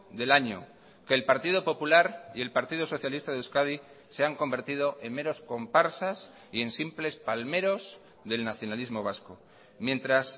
del año que el partido popular y el partido socialista de euskadi se han convertido en meros comparsas y en simples palmeros del nacionalismo vasco mientras